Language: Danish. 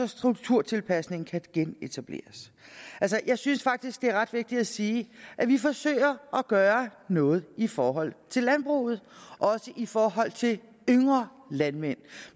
strukturtilpasningen kan genetableres altså jeg synes faktisk det er ret vigtigt at sige at vi forsøger at gøre noget i forhold til landbruget og også i forhold til de yngre landmænd